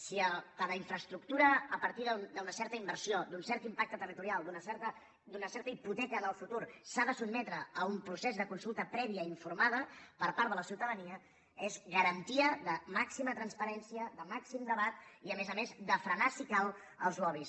si cada infraestructura a partir d’una certa inversió d’un cert impacte territorial d’una certa hipoteca en el futur s’ha de sotmetre a un procés de consulta prèvia informada per part de la ciutadania és garantia de màxima transparència de màxim debat i a més a més de frenar si cal els lobbys